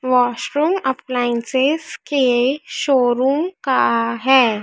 Washroom appliances के showroom का है।